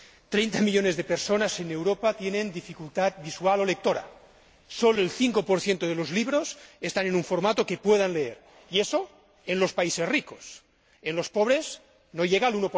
Treinta millones de personas en Europa tienen dificultad visual o lectora, pero solo el 5 de los libros están en un formato que puedan leer, y eso en los países ricos, en los pobres no llega al